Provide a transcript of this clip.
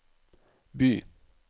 by